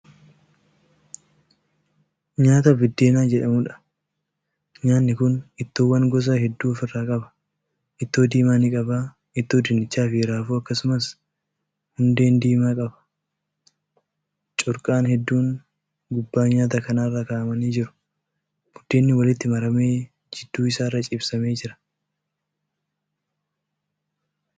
Nyaata buddeenaa jedhamuudha. nyaanni Kuni ittoowwan gosa hedduu ofirraa qaba. ittoo diimaa ni qaba. ittoo dinnichaafi raafui akkasumas hundeen diimaa qaba. corqaan hedduun gubbaa nyaata kanaarra kaa'amanii jiru. buddeenni walitti maramee gidduu isaarra ciibsamee Jira.